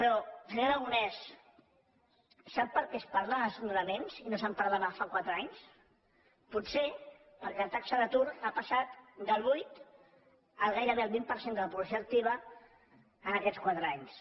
però senyor aragonès sap perquè es parla de desnonaments i no se’n parlava fa quatre anys potser perquè la taxa d’atur ha passat del vuit al gairebé vint per cent de la població activa en aquests quatre anys